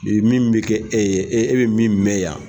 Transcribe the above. Min bɛ kɛ e ye e bɛ min mɛn yan.